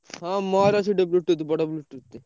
ହଁ ମୋର ଅଛି Bluetooth ଟେ ବଡ Bluetooth ଟେ।